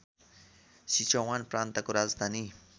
Sichuan प्रान्तको राजधानी